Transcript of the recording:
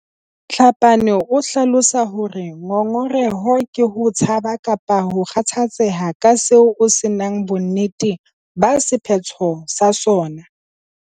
Tlhapane o hlalosa hore ngongoreho ke ho tshaba kapa ho kgathatseha ka seo o se nang bonnete ba sephetho sa sona.